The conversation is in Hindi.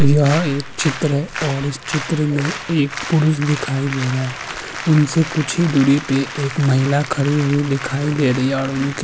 यह एक चित्र है और इस चित्र में एक पुरुष दिखाई दे रहा है उनसे कुछ ही दूरी पे एक महिला खड़ी हुई दिखाईं दे रही है और उसके --